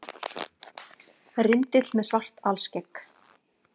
Rindill með svart alskegg.